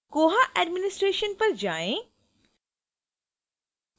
koha administration पर जाएँ